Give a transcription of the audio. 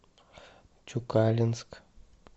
тюкалинск